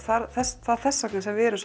það er þess vegna sem við erum